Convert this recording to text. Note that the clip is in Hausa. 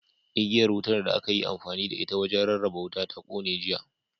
Igiyar wutar da aka yi amfani da ita wajen rarraba wuta ta kone, jiya.